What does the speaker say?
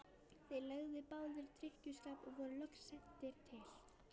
Þeir lögðust báðir í drykkjuskap og voru loks sendir til